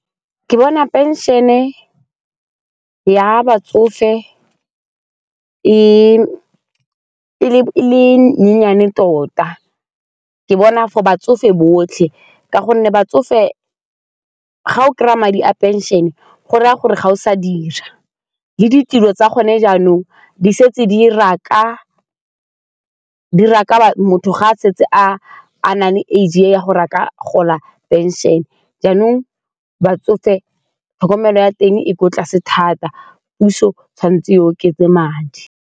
Ke bona pension-e ya batsofe e le nyenyane tota ke bona for batsofe botlhe ka gonne batsofe ga o kry-a madi a pension-e e go raya gore ga o sa dira le ditilo tsa gone jaanong di setse di dira gore motho ga a setse a nang le age ya gore a ka gola pension-e jaanong batsofe tlhokomelo ya teng e kwa tlase thata, puso tshwanetse e oketse madi.